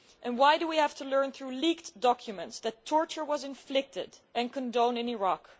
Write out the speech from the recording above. Why do we have to learn through leaked documents that torture was inflicted and condoned in Iraq?